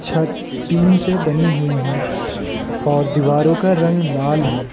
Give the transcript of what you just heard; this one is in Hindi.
छत टीन से बनी हुई है और दीवारों का रंग लाल है।